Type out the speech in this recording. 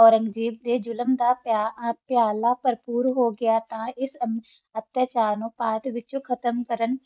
ਓਰਾਂਗ੍ਜ਼ਾਬ ਦਾ ਆਲਮ ਦਾ ਬਰ੍ਪੋਰ ਹੋ ਗੀ ਤਹ ਆਪਣਾ ਪਾ ਦਾ ਵਿਤਚ ਹੀ ਖਤਮ ਕਰਨ